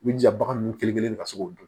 I b'i jija bagan nunnu kelen kelen ka se k'o dun